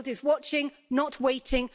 The world is watching, not waiting.